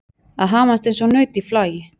Að hamast eins og naut í flagi